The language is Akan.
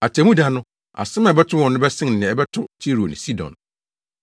Atemmuda no, asɛm a ɛbɛto wɔn no bɛsen nea ɛbɛto Tiro ne Sidon.